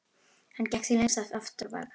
Hann gekk því lengst af aftur á bak.